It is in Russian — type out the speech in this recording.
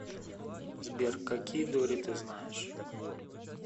сбер какие дори ты знаешь